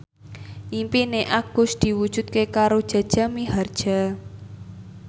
impine Agus diwujudke karo Jaja Mihardja